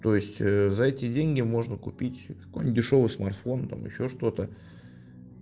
то есть за эти деньги можно купить какой то дешёвый смартфон там ещё что-то